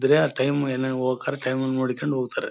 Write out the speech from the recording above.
ಇದ್ರೆ ಆ ಟೈಮ್ ಎಲ್ಲೆಲ್ಲಿ ಹೋಗ್ಬೇಕಾದ್ರೆ ಟೈಮ್ ನ್ನು ನೋಡ್ಕೊಂಡು ಹೋಗ್ತಾರೆ.